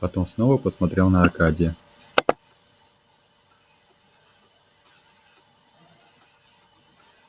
потом снова посмотрел на аркадия